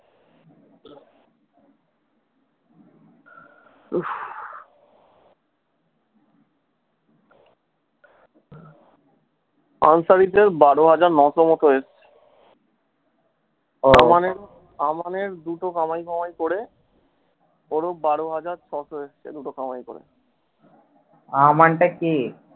বারো হাজার নশো মতো এসছে আমাদের দুটো কামাই ফামাই করে অরুপ বারো হাজার ছশো এসছে দুটো কামাই করে।